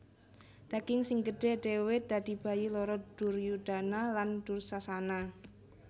Daging sing gedhe dhewe dadi bayi loro Duryudana lan Dursasana